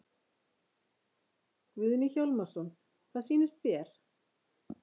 Guðni Hjálmarsson: Hvað sýnist þér?